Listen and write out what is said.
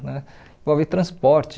Né? Envolve transporte,